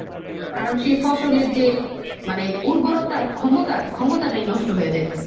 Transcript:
কারণ সেই ফসলের যে মানে উর্বরতা, ক্ষমতা, ক্ষমতাটাই নষ্ট হয়ে যাইতাসে।